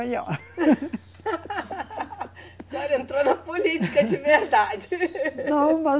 A senhora entrou na política de verdade. Não, mas